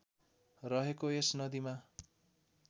रहेको यस नदीमा